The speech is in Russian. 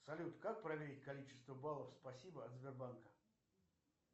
салют как проверить количество баллов спасибо от сбербанка